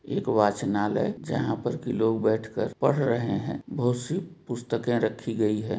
एगो वाचनालय जहाँ पर की लोग बैठ कर पढ़ रहे हैं बहुत सी पुस्तकें रखी गयी हैं।